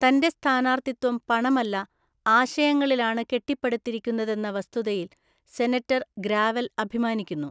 തന്റെ സ്ഥാനാർത്ഥിത്വം പണമല്ല, ആശയങ്ങളിലാണ് കെട്ടിപ്പടുത്തിരിക്കുന്നതെന്ന വസ്തുതയിൽ സെനറ്റർ ഗ്രാവൽ അഭിമാനിക്കുന്നു.